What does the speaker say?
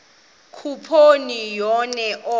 khuphoni enye oko